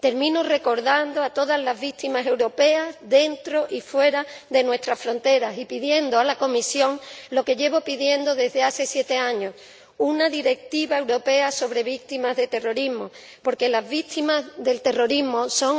Termino recordando a todas las víctimas europeas, dentro y fuera de nuestras fronteras y pidiendo a la Comisión lo que llevo pidiendo desde hace siete años una directiva europea sobre víctimas de terrorismo, porque las víctimas del terrorismo son